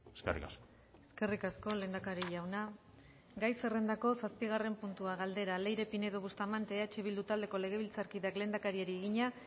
eskerrik asko eskerrik asko lehendakari jauna gai zerrendako zazpigarren puntua galdera leire pinedo bustamante eh bildu taldeko legebiltzarkideak lehendakariari egina